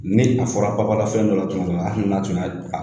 Ni a fɔra babalafɛn dɔ la hali n'a tun y'a